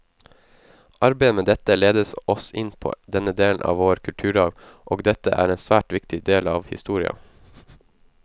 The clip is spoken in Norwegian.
Arbeidet med dette ledet oss inn på denne delen av vår kulturarv, og dette er en svært viktig del av historia.